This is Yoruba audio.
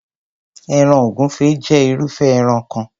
Ẹran ògúnfẹ jé irúfé ẹran kan.